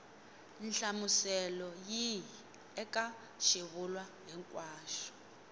nhlamuselo yihi eka xivulwa hinkwaxo